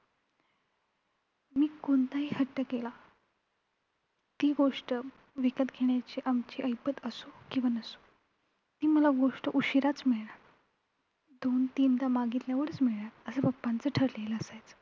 मी कोणताही हट्टं केला. ती गोष्ट विकत घेण्याची आमची ऐपत असो किंवा नसो ती मला गोष्ट उशिराचं मिळणार दोन-तीनदा मागितल्यावरचं मिळणार, असं papa चं ठरलेलं असायचं.